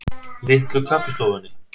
Litlu Kaffistofunni